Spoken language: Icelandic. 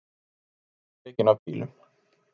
Númer tekin af bílum